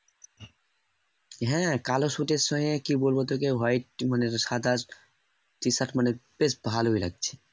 হ্যাঁ, কালো সুটের সঙ্গে কি বলবো তোকে white মানে সাদা t-shirt মানে বেশ ভালই লাগছে।